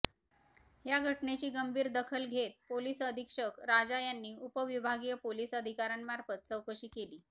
या घटनेची गंभीर दाखल घेत पोलिस अधीक्षक राजा यांनी उपविभागीय पोलिस अधिकाऱ्यांमार्फत चौकशी केली